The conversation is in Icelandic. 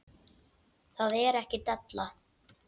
Það er ekki della.